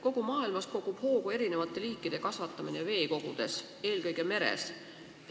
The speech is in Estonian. Kogu maailmas kogub hoogu erinevate liikide kasvatamine veekogudes, eelkõige meres.